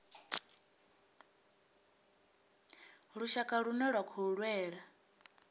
lushaka lune lwa khou lwela